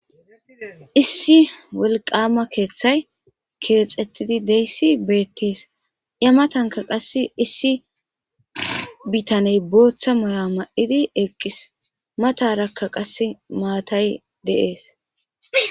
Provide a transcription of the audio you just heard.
Issi wolqama keeththay keexettidi deyssi beettees ya matanka qass issi bitaney booththa moya ma'idi eqqis matarakka qas maatay deees.